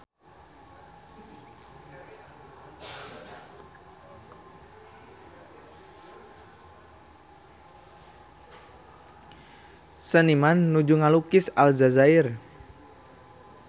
Seniman nuju ngalukis Aljazair